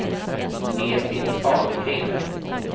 Edit Ahlgren